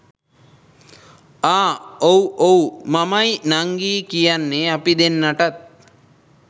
අහ් ඔව් ඔව් මමයි නංගියි කියන්නේ අපි දෙන්නටත්